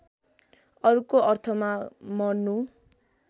अर्को अर्थमा मर्नु